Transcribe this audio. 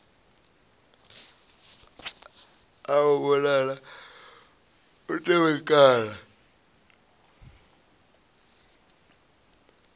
a a vhonala u tevhekana